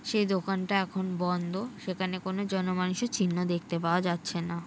সে দোকানটা এখন বন্ধ সেখানে কোনো জন মানুষের চিহ্ন দেখতে পাওয়া যাচ্ছে না ।